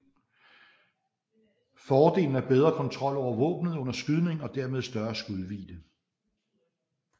Fordelen er bedre kontrol over våbnet under skydning og dermed større skudvidde